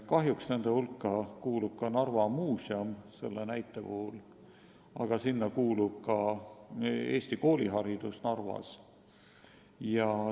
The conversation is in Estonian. Kahjuks kuuluvad nende hulka ka Narva Muuseum ja eestikeelne kooliharidus Narvas.